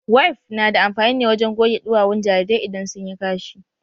Wif na da amfani ne wajen goge duwawun jarirai idan sun yi kashi.